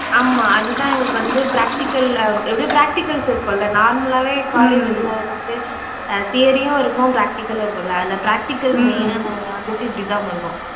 ஆமா அது தான் எங்களுக்கு வந்து practical அஹ் எப்படியும் practicals இருக்கும்ல normal லாவே college இதுல வந்துட்டு அஹ் theory உம் இருக்கும் practical உம் இருக்கும்ல, அதுல practical main ஆ நாங்க வந்துட்டு இப்படிதான் பண்ணுவோம்.